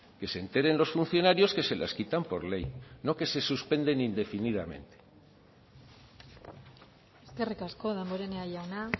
que se enteren los funcionarios que se les quitan por ley no que se suspenden indefinidamente eskerrik asko damborenea jauna